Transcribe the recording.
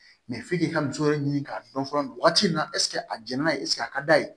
f'i k'i ka muso yɛrɛ ɲini k'a dɔn fɔlɔ nin waati in na a jɛn'a ye a ka d'a ye